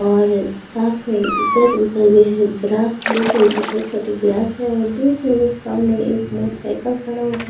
और साथ में इधर-उधर ये है ग्रास हर खेल की छोटी-छोटी ग्रास है और सामने साइकल खड़ा --